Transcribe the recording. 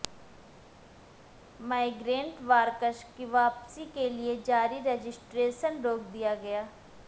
migrant workers کی واپسی کیلئے جاری رجسٹریشن روک دیا گیا